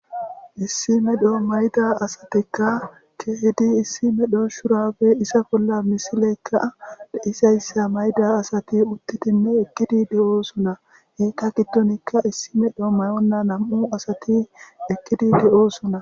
Issime dhoo mayda asatikka kehidi issime dhooshurafe isa bolla misileykka deisayssa mayda asati uttitinne ekkidi de'oosuna heekka kittonikka issime dhoo mayonna nam'u asati ekkidi de'oosuna.